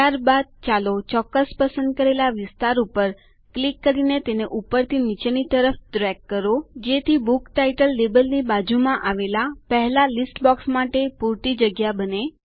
ત્યારબાદ ચાલો ચોક્કસ પસંદ કરેલા વિસ્તાર ઉપર ક્લિક કરીને તેને ઉપરથી નીચેની તરફ ડ્રેગ કરો ખસેડો જેથી બુક ટાઇટલ લેબલની બાજુમાં આવેલી પહેલી યાદીના બોક્સ માટે પુરતી જગ્યા બને